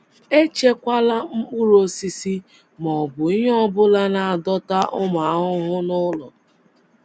Echekwala mkpụrụ osisi ma ọ bụ ihe ọ bụla na - adọta ụmụ ahụhụ n’ụlọ.